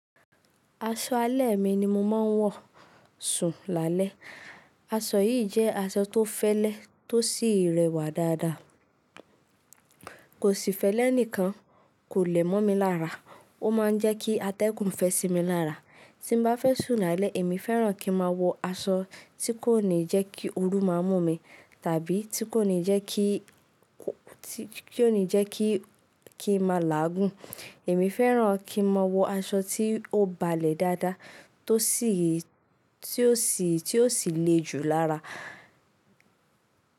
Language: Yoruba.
Aṣọ alẹ́ mi ni mo máa ń wọ̀ sùn lálẹ́. Aṣọ yìí jẹ́ aṣọ tó fẹ́lẹ́ tó sì rẹwà dáadáa. Kò sì fẹ́lẹ́ nìkan, kò lẹ̀ mọ́ mi lára. Ó máa ń jẹ́ kí atẹ́gùn fẹ́ sí mi lára. Tí bá fẹ́ sùn lálẹ́, èmi fẹ́ràn kí n máa wọ aṣọ tí kò ní jẹ́ kí ooru máa mú mi, tàbí tí kò ní jẹ́ kí, tí kò ní jẹ́ kí, kí n máa làágùn. Èmi fẹ́ràn kí n máa wọ aṣọ tí ó balẹ̀ dáadáa tó sì, tí ó sì, tí ó sì le jù lára.